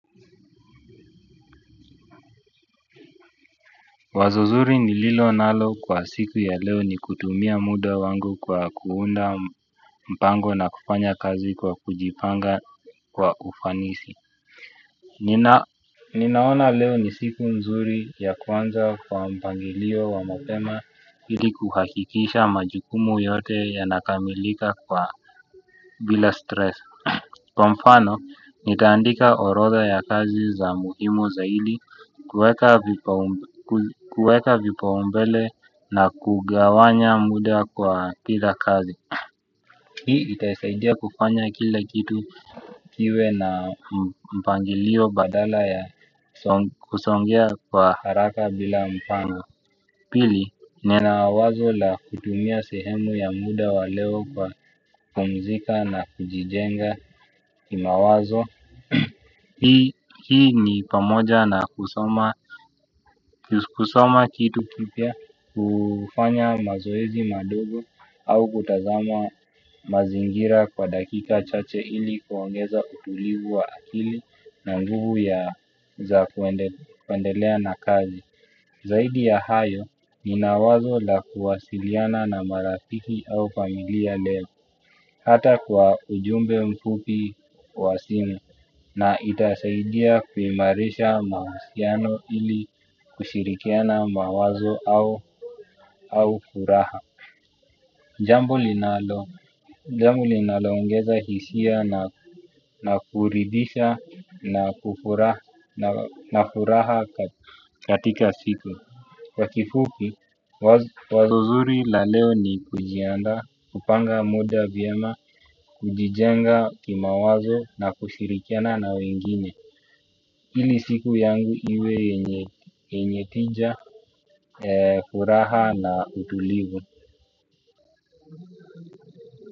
Wazo zuri ni lilo nalo kwa siku ya leo ni kutumia muda wangu kwa kuunda mpango na kufanya kazi kwa kujipanga kwa ufanisi. Ninaona leo ni siku nzuri ya kwanza kwa mpangilio wa mapema ili kuhakikisha majukumu yote yanakamilika kwa bila stress. Kwa mfano, nitaandika orotha ya kazi za muhimu zaidi kueka vipaumbele na kugawanya muda kwa pita kazi. Hii itaisaidia kufanya kila kitu kiwe na mpangilio badala ya kusongea kwa haraka bila mpango. Pili, nina wazo la kutumia sehemu ya muda wa leo kwa kupumzika na kujijenga kimawazo, hii ni pamoja na kusoma kitu kipya. Kufanya mazoezi madogo au kutazama mazingira kwa dakika chache ili kuongeza utulivu wa akili. Na nguvu ya za kuendelea na kazi. Zaidi ya hayo, nina wazo la kuwasiliana na marafiki au familia leo. Hata kwa ujumbe mfupi wa simu. Na itasaidia kuimarisha mahusiano ili kushirikiana mawazo au furaha. Jambo linaloongeza hisia na kuridhisha na furaha katika siku kwa kifupi wazo zuri la leo ni kujiandaa kupanga muda vyema kujijenga kimawazo na kushirikiana na wengine ili siku yangu iwe yenye tija furaha na utulivu.